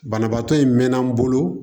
Banabaatɔ in mɛnna n bolo